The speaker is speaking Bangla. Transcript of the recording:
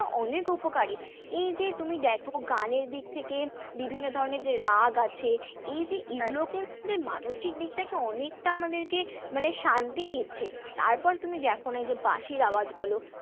অনেক উপকারী, এই যে তুমি দেখো গানের দিক থেকে বিভিন্ন ধরণের যে রাগ আছে, এই যে মানসিক দিক থেকে অনেকটা আমাদেরকে মানে শান্তি দিচ্ছে, তারপরে তুমি দেখো না এই যে বাঁশির আওয়াজ বলো